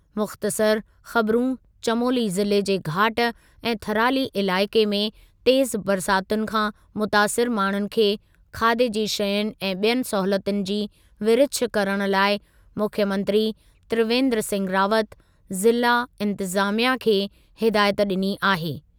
मुख़्तसरु ख़बिरूं चमोली ज़िले जे घाट ऐं थराली इलाइक़े में तेज़ु बरसातुनि खां मुतासिरु माण्हुनि खे खाधे जी शयुनि ऐं ॿियनि सहूलियतुनि जी विरिछ करण लाइ मुख्यमंत्री त्रिवेन्द्र सिंह रावत ज़िला इंतिज़ामिया खे हिदायत ॾिनी आहे।